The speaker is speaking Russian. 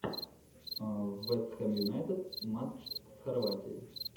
вест хэм юнайтед матч с хорватией